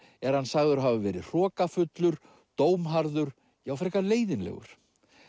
er hann sagður hafa verið hrokafullur dómharður já frekar leiðinlegur